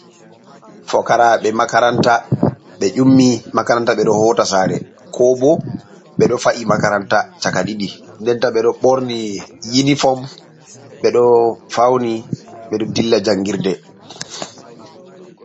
Fokaraɓe makaranta ɓe ƴummi makaranta ɓedo hota sare ko bo, ɓe do fa’i makaranta chaka diidi den ta ɓe do ɓorni yiniform béh ɗo fauni beɗo dilla jangirde.